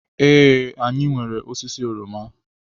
Ee, anyị nwere osisi oroma.